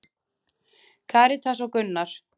Karítas og Gunnar.